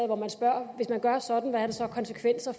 hvor man spørger hvis man gør sådan hvad har det så af konsekvenser